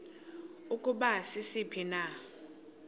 ukuba sisiphi na